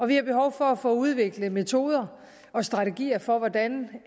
vi har behov for at få udviklet metoder og strategier for hvordan